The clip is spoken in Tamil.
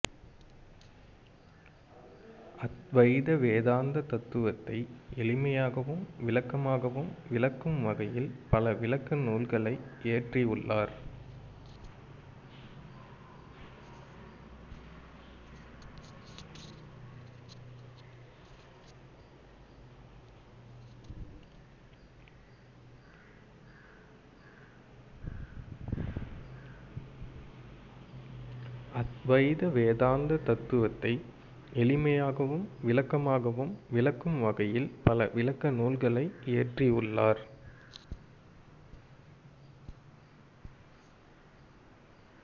அத்வைத வேதாந்த தத்துவத்தை எளிமையாகவும் விளக்கமாகவும் விளக்கும் வகையில் பல விளக்க நூல்களை இயற்றியுள்ளார்